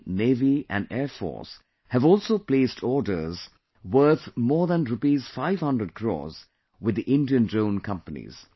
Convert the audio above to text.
The Army, Navy and Air Force have also placed orders worth more than Rs 500 crores with the Indian drone companies